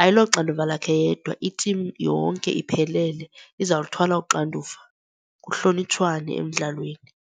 ayiloxanduva lakhe yedwa, itimu yonke iphelele izawuluthwala uxanduva, kuhlonitshwane emdlalweni.